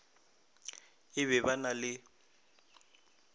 e ba ba na le